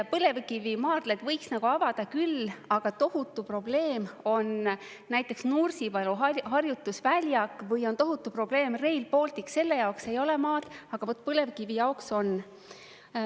Põlevkivimaardlaid võiks avada küll, aga tohutu probleem on näiteks Nursipalu harjutusväljak või on tohutu probleem Rail Baltic, selle jaoks ei ole maad, aga vot põlevkivi jaoks on.